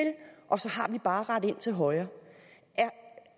og så har vi bare at rette ind til højre